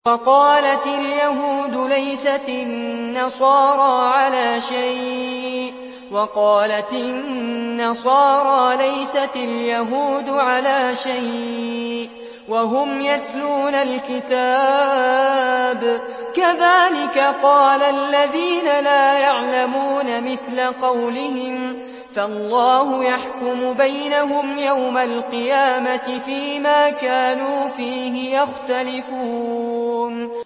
وَقَالَتِ الْيَهُودُ لَيْسَتِ النَّصَارَىٰ عَلَىٰ شَيْءٍ وَقَالَتِ النَّصَارَىٰ لَيْسَتِ الْيَهُودُ عَلَىٰ شَيْءٍ وَهُمْ يَتْلُونَ الْكِتَابَ ۗ كَذَٰلِكَ قَالَ الَّذِينَ لَا يَعْلَمُونَ مِثْلَ قَوْلِهِمْ ۚ فَاللَّهُ يَحْكُمُ بَيْنَهُمْ يَوْمَ الْقِيَامَةِ فِيمَا كَانُوا فِيهِ يَخْتَلِفُونَ